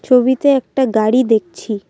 ছবিতে একটা গাড়ি দেখছি।